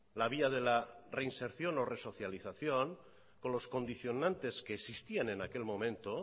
la vía de la reinserción o resocialización con los condicionantes que existían en aquel momento